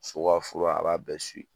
So ka fura a b'a bɛɛ